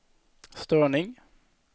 störning